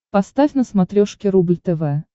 поставь на смотрешке рубль тв